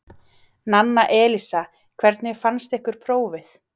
Nanna Elísa: Hvernig fannst ykkur prófið?